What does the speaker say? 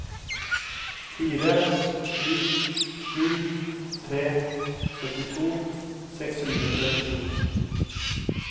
fire sju sju tre syttito seks hundre og trettito